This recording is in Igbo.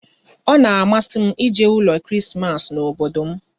Ọ na-amasị m ije ụlọ Krismas n'obodo m